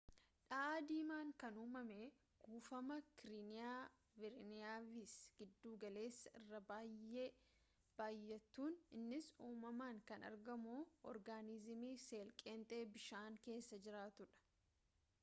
dha'aa diimaan kan umame kuufama kariiniya bireevis giddu galessa irra bay'ee baay'atuun innis uumamaan kan argamu organiziimii seel-qeenxee bishaan keessa jiraatuudha